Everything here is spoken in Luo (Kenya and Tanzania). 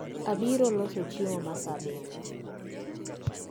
Abiro loso chiemo maa saa abirio